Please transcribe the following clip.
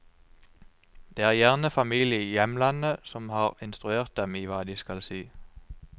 Det er gjerne familie i hjemlandet som har instruert dem i hva de skal si.